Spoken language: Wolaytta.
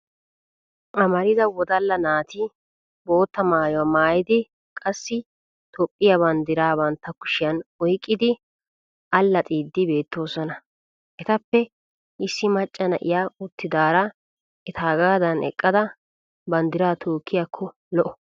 Amarida wodalla naati bootta maayuwa maayidi qassi Toophphiya banddiraa bantta kushiyan oyqqidi allaxxiiddi beettoosona. Etappe issi macca na'iya uttidaara etaagaadan eqqada banddiraa tookkiyakko lo'o.